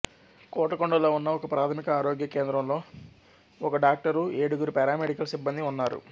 కోటకొండలో ఉన్న ఒకప్రాథమిక ఆరోగ్య కేంద్రంలో ఒక డాక్టరు ఏడుగురు పారామెడికల్ సిబ్బందీ ఉన్నారు